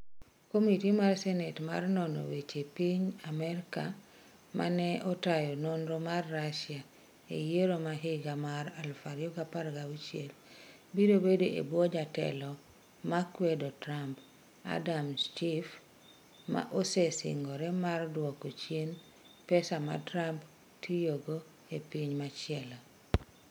Komiti mar Senate mar nono weche piny Amerka ma ne otayo nonro mar Russia e yiero ma higa mar 2016 biro bedo e bwo jatelo ma kwedo Trump, Adam Schiff, ma osesingore mar dwoko chien pesa ma Trump tiyo godo e piny machielo.